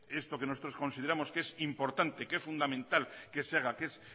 esto que nosotros consideramos que es importante que es fundamental que se haga que es